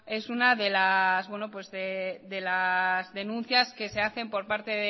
es una de las denuncias que se hacen por parte